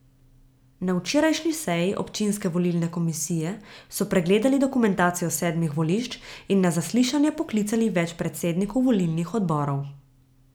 Na včerajšnji seji občinske volilne komisije so pregledali dokumentacijo sedmih volišč in na zaslišanje poklicali več predsednikov volilnih odborov.